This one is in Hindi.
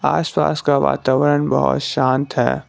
आस पास का वातावरण बहोत शांत है।